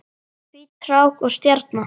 Hvít rák og stjarna